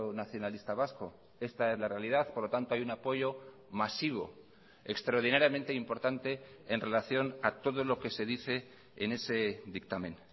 nacionalista vasco esta es la realidad por lo tanto hay un apoyo masivo extraordinariamente importante en relación a todo lo que se dice en ese dictamen